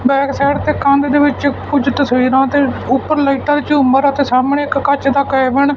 back side ਤੇ ਕੰਧ ਦੇ ਵਿੱਚ ਕੁਝ ਤਸਵੀਰਾਂ ਤੇ ਉਪਰ ਲਾਈਟਾਂ ਝੂਮਰ ਅਤੇ ਸਾਹਮਣੇ ਇੱਕ ਕੱਚ ਦਾ ਕੈਬਨ --